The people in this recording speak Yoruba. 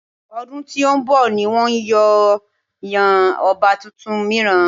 Ọdún tí ó ń bọ̀ ni wọn yóò yan ọba tuntun mìíràn.